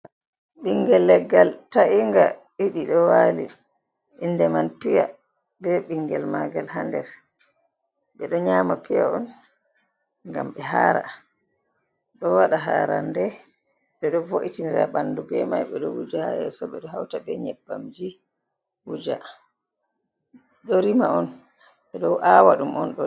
Ɓingel leggal ta’inga ɗiɗi ɗo wali inde man piya be ɓingel magal ha les ɓeɗo nyama piya on gam ɓe hara, ɗo waɗa harande ɓeɗo bo’itinira ɓandu be mai ɓeɗo wuja ha yesso ɓeɗo hauta be nyebbamji wuja ɗo rima on ɓeɗo awa ɗum on.